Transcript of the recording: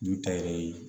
N'u ta yɛrɛ ye